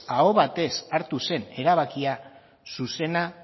aho batez hartu zen erabakia zuzena